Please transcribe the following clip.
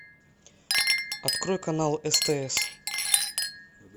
открой канал стс